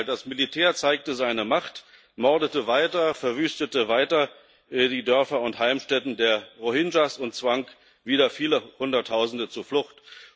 Im Gegenteil Das Militär zeigte seine Macht, mordete weiter, verwüstete weiter die Dörfer und Heimstätten der Rohingya und zwang wieder viele Hunderttausende zur Flucht.